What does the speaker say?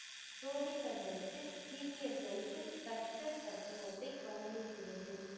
சோதிப்பதற்கு சீக்கியர்களுக்கு கற்றல் தத்துவத்தை வழங்குகிறது